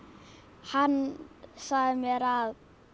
hann sagði mér að